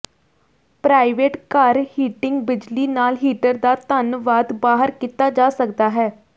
private ਘਰ heating ਬਿਜਲੀ ਨਾਲ ਹੀਟਰ ਦਾ ਧੰਨਵਾਦ ਬਾਹਰ ਕੀਤਾ ਜਾ ਸਕਦਾ ਹੈ